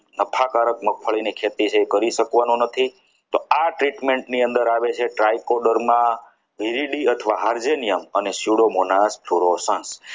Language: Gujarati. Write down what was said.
નફાકારક મગફળી ખેતી છે એ કરી શકવાનું નથી તો અંદર આવે છે try coder માં હારજે નિયમ અને